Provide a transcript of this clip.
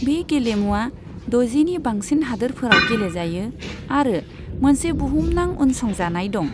बे गेलेमुवा द'जिनि बांसिन हादोरफोराव गेलेजायो आरो मोनसे बुहुमनां उनसंजानाय दं।